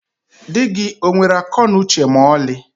Dị gị onwere akọ na uche ma ọlị?